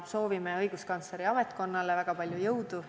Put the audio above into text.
Soovime õiguskantsleri ametkonnale väga palju jõudu.